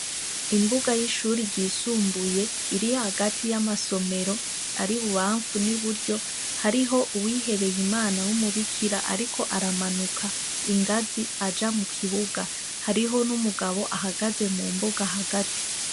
Imbuga y'ishure ryisumbuye, iri hagati y'amasomero ari ibubanfu n'i buryo, hariho uwigebeye Imana w'umubikira ariko aramanuka ingazi aja mu kibuga. Hariho n'umugabo ahagaze mu mbuga hagati.